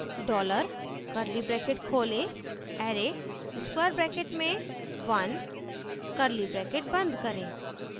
dollar curly brackets खोलें array square brackets में one curly brackets बंद करें